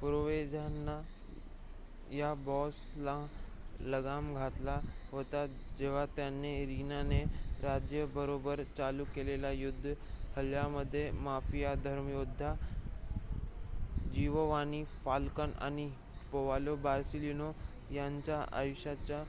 Provenzano न या boss ना लगाम घातला होता जेव्हा त्याने रीना ने राज्या बरोबर चालू केलेले युद्ध ह्यामध्ये माफिया धर्मयोद्धा जीवोवानी फाल्कन आणि पावलो बोर्सेलीनो यांच्या आयुष्याचा